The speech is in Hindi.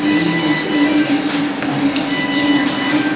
इस तस्वीर में एक फोन दिखाई दे रहा है।